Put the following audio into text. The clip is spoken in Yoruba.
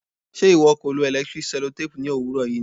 ṣe ìwọ kò lo electric sellotape ní òwúrọ̀ yìí ni?